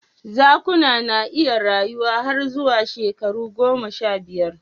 Zakuna na iya rayuwa har zuwa shekaru goma sha biyar